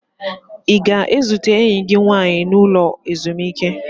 Ị ga-ezute enyi gị nwaanyị n'ụlọ ezumike?